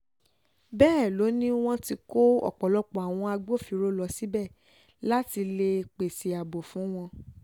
bẹ́ẹ̀ ló ní wọ́n ti kó ọ̀pọ̀lọpọ̀ àwọn agbófinró lọ síbẹ̀ láti lè pèsè ààbò fún wọn